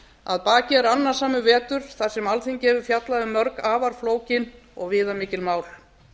að baki er annasamur vetur þar sem alþingi hefur fjallað um mörg afar flókin og viðamikil mál